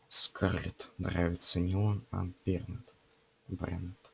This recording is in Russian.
скарлетт нравится не он а бернт брент